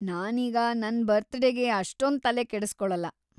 ನಾನೀಗ ನನ್ ಬರ್ತಡೇಗೆ ಅಷ್ಟೊಂದ್ ತಲೆ ಕೆಡಿಸ್ಕೊಳಲ್ಲ.